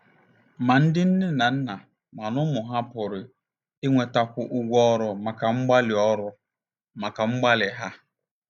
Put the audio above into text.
Ma ndị nne na nna ma ụmụ ha pụrụ inwetakwu ụgwọ ọrụ maka mgbalị ọrụ maka mgbalị ha.